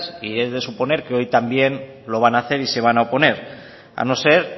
y he de suponer que hoy también lo van hacer y se van a oponer a no ser